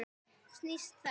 Snýst þá